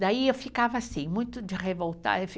Daí eu ficava assim, muito de revoltar. Eu fica